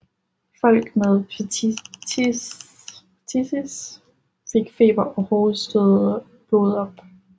Folk med phthisis fik feber og hostede blod op